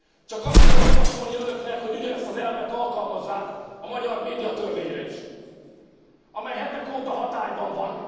Csak azt tudom javasolni önöknek, hogy ugyanezt az elvet alkalmazzák a magyar médiatörvényre is, amely hetek óta hatályban van.